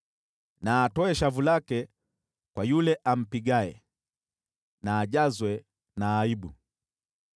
Na atoe shavu lake kwa yule ampigaye, na ajazwe na aibu.